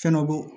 Fɛn dɔ bɔn